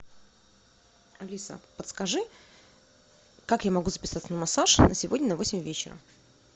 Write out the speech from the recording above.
алиса подскажи как я могу записаться на массаж на сегодня на восемь вечера